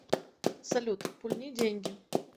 салют пульни деньги